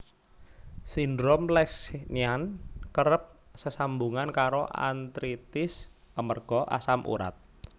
Sindrom Lesch Nyhan kerep sesambungan karo artritis amarga asam urat